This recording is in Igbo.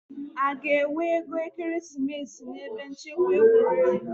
A ga-enwe ego ekeresimesi n'ebe nchekwa egwuregwu?